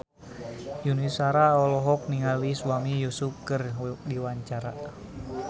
Yuni Shara olohok ningali Sami Yusuf keur diwawancara